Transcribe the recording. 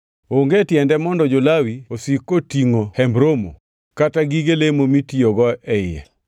onge tiende mondo jo-Lawi osik katingʼo Hemb Romo kata gige lemo mitiyogo e iye.”